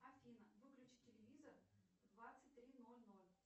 афина выключи телевизор в двадцать три ноль ноль